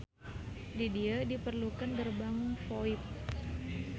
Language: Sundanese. Di dieu diperlukeun gerbang VoIP